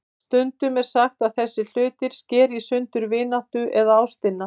Stundum er sagt að þessir hlutir skeri í sundur vináttuna eða ástina.